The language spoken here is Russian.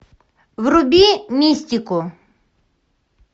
вруби мистику